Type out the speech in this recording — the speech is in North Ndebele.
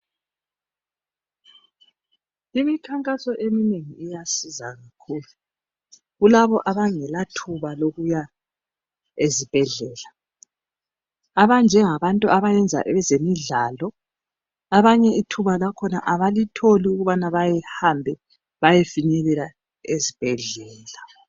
Imikhankaso eminengi iyasiza kakhulu, kulabo abangela thuba lokuya ezibhedlela. Abanjengabantu abayenza ezemidlalo abanye ithuba lakhona abalitholi ukubana bahambe bayefinyelela ezibhedlela.